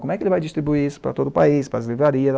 Como é que ele vai distribuir isso para todo o país, para as livrarias?